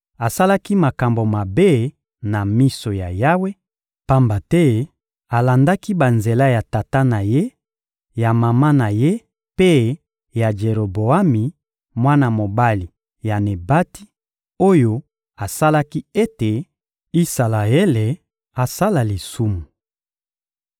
Asalaki makambo mabe na miso ya Yawe; pamba te alandaki banzela ya tata na ye, ya mama na ye mpe ya Jeroboami, mwana mobali ya Nebati, oyo asalaki ete Isalaele asala lisumu.